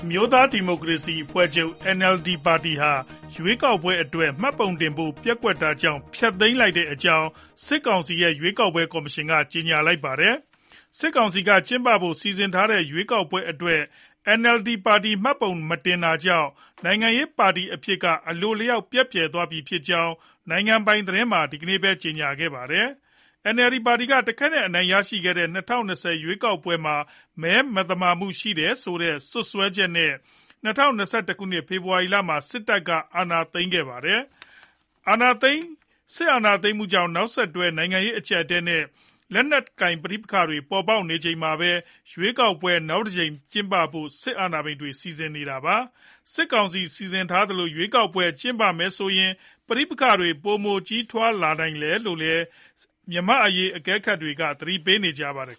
မျိုးသားဒီမိုကရေစီအဖွဲ့ချုပ် (NLD) ပါတီဟာ ရွေးကောက်ပွဲအတွက် မှတ်ပုံတင်ဖို့ ပျက်ကွက်တာကြောင့် ဖျက်သိမ်းလိုက်ကြောင်း စစ်ကောင်စီရဲ့ ရွေးကောက်ပွဲ ကော်မရှင်က ကြေညာလိုက်ပါတယ်။ စစ်ကောင်စီက ကျင်းပဖို့ စီစဉ်ထားတဲ့ ရွေးကောက်ပွဲအတွက် NLD ပါတီက မှတ်ပုံမတင်တာကြောင် နိုင်ငံရေးပါတီအဖြစ်က အလိုအလျောက် ပျက်ပြယ်သွားပြီဖြစ်ကြောင်း နိုင်ငံပိုင်သတင်းမှာ ဒီကနေ့ပဲ ကြေညာခဲ့တာပါ။ NLD ပါတီက တခဲနက်အနိုင်ရခဲ့တဲ့ ၂၀၂၀ ပြည့်နှစ် ရွေးကောက်ပွဲမှာ မသမာမှုတွေ ရှိတယ်ဆိုတဲ့ စွပ်စွဲချက်နဲ့ ၂၀၂၁ ခုနှစ် ဖေဖော်ဝါရီလမှာ စစ်တပ်က အာဏာသိမ်းခဲ့တာ ဖြစ်ပါတယ်။ စစ်အာဏာသိမ်းမှုကြောင့် နောက်ဆက်တွဲ နိုင်ငံရေး အကျပ်အတည်းတွေနဲ့ လက်နက်ကိုင် ပဋိပက္ခတွေ ပေါ်ပေါက်နေချိန်မှာပဲ ရွေးကောက်ပွဲ နောက်တကြိမ်ကျင်းပဖို့ စစ်အာဏာပိုင်တွေ စီစဉ်နေတာပါ။ စစ်ကောင်စီက စီစဉ်ထားသလို ရွေးကောက်ပွဲတွေ ကျင်းပမယ်ဆိုရင် ပဋိပက္ခတွေ ပိုမိုကြီးထွားလာနိုင်တယ်လို့လည်း မြန်မာ့အရေး အကဲခတ်တွေ သတိပေးနေကြပါတယ်